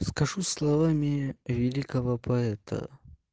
скажу словами великого поэта